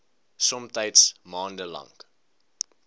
somtyds maande lank